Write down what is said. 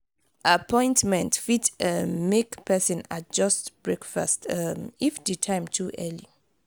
appointment fit um make pesin adjust breakfast um if di time too early.